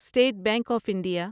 state Bank of India